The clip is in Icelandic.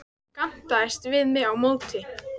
Hann gantaðist við mig á móti.